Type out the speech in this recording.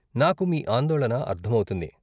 నాకు మీ ఆందోళన అర్ధమవుతుంది.